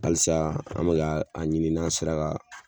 Alisa an be be k'a ɲini n'an sera ka